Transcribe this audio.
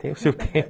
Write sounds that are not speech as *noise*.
*laughs* Tem o seu tempo.